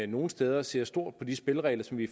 nogle steder ser stort på de spilleregler som vi